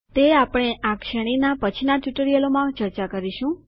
તે આપણે આ શ્રેણીના પછીના ટ્યુટોરિયલોમાં ચર્ચા કરીશું